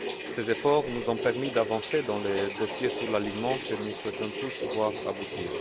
Ces efforts nous ont permis d'avancer dans les dossiers sur l'alignement, que nous souhaitons tous voir aboutir.